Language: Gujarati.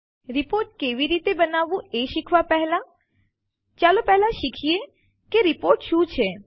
રીપોર્ટ કેવી રીતે બનાવવું એ શીખવાં પહેલા ચાલો પહેલા શીખીએ કે રીપોર્ટ શું છે